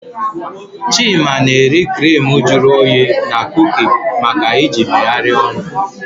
Chima na-eri crimu juru oyi na kuki maka iji megharịa ọnụ.